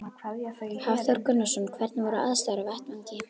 Hafþór Gunnarsson: Hvernig voru aðstæður á vettvangi?